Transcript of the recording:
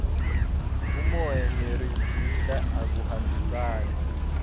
umoya nerejista akuhambisani